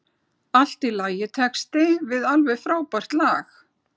Allt í lagitexti við alveg frábært lag.